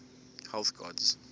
health gods